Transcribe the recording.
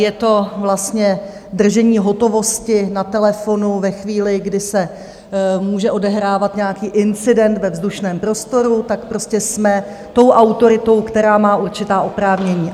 Je to vlastně držení hotovosti na telefonu ve chvíli, kdy se může odehrávat nějaký incident ve vzdušném prostoru, tak prostě jsme tou autoritou, která má určitá oprávnění.